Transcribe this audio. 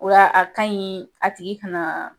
Wa a kaɲi a tigi ka na